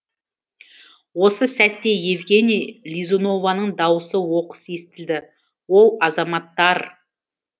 осы сәтте евгения лизунованың даусы оқыс естілді оу азаматтар